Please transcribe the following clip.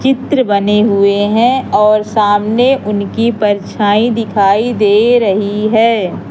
चित्र बने हुए हैं और सामने उनकी परछाई दिखाई दे रही है।